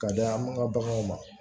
Ka da makan baganw ma